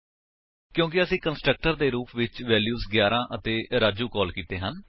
ਕਿਉਂਕਿ ਅਸੀਂ ਕੰਸਟਰਕਟਰ ਦੇ ਰੁਪ ਵਿੱਚ ਵੇਲਿਊਸ 11 ਅਤੇ ਰਾਜੂ ਕਾਲ ਕੀਤੇ ਹਨ